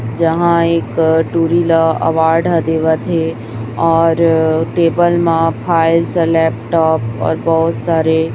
जहाँ एक टुरी ला अवार्ड ल देवत हे और टेबल म फाइल्स लैपटॉप और बहुत सारे --